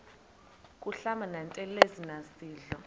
kuhlamba ngantelezi nasidlo